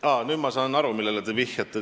Aa, nüüd ma saan aru, millele te vihjate.